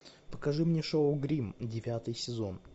покажи мне шоу гримм девятый сезон